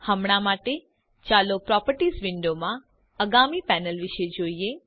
હમણાં માટે ચાલો પ્રોપર્ટીઝ વિંડો માં આગામી પેનલ વિષે જોઈએ